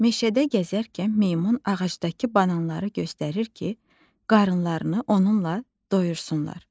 Meşədə gəzərkən meymun ağacdakı bananları göstərir ki, qarınlarını onunla doydursunlar.